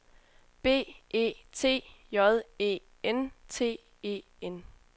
B E T J E N T E N